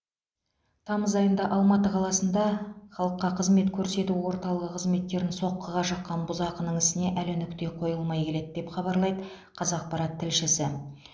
тамыз айында алматы қаласында халыққа қызмет көрсету орталығы қызметкерін соққыға жыққан бұзақының ісіне әлі нүкте қойылмай келеді деп хабарлайды қазақпарат тілшісі